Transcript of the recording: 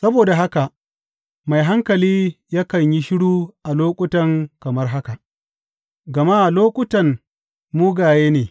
Saboda haka mai hankali yakan yi shiru a lokuta kamar haka, gama lokutan mugaye ne.